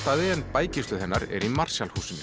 en bækistöð hennar er í Marshall húsinu